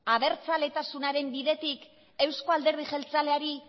abertzaletasunaren bidetik euzko alderdi jeltzaleari